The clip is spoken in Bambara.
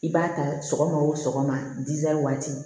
I b'a ta sɔgɔma o sɔgɔma waati